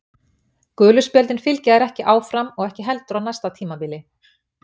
Gulu spjöldin fylgja þér ekki áfram og ekki heldur á næsta tímabili.